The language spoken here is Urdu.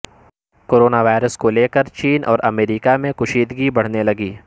کورنا وائرس کو لیکر چین اور امریکہ میں کشیدگی بڑھتے لگی